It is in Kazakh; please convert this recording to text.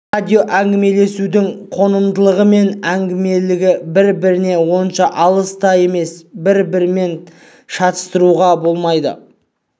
радиоәңгімелесудің қонымдылығы мен әңгімелілігі бір-бірінен онша алыс та емес әрі бір-бірімен шатастыруға болмайды